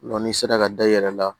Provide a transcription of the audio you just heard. n'i sera ka da i yɛrɛ la